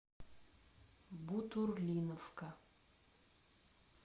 бутурлиновка